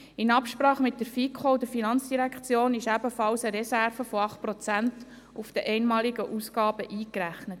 In Absprache mit der FiKo und der FIN wurde zudem eine Reserve von 8 Prozent auf die einmaligen Ausgaben eingerechnet.